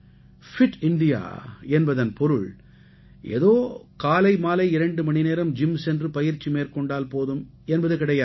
fit India என்பதன் பொருள் ஏதோ காலை மாலை இரண்டு மணி நேரம் ஜிம் சென்று பயிற்சி மேற்கொண்டால் போதும் என்பது கிடையாது